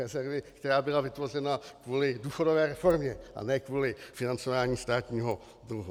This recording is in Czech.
Rezervy, která byla vytvořena kvůli důchodové reformě, a ne kvůli financování státního dluhu.